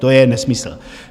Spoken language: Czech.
To je nesmysl.